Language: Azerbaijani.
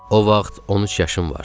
O vaxt 13 yaşım vardı.